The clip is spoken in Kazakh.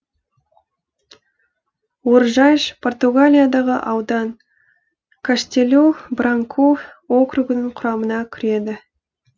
оржайш португалиядағы аудан каштелу бранку округінің құрамына кіреді